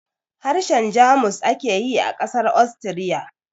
Harshen Jamus ake yi a ƙasar Austria